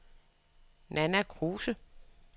Nanna Kruse